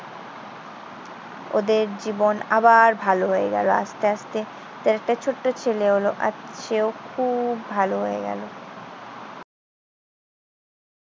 ওদের জীবন আবার ভালো হয়ে গেল আস্তে আস্তে। তাদের একটা ছোট্ট ছেলে হলো। আজ সেও খুব ভালো হয়ে গেল।